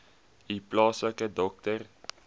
u plaaslike dokter